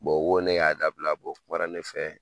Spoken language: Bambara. o ko ne y'a dabila o kumana ne fɛ